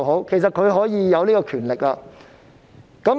其實，特首是擁有這權力的。